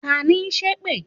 Tani n sẹ́ èpè?